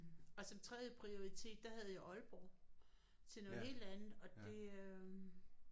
Og som tredje prioritet der havde jeg Aalborg til noget helt andet og det øh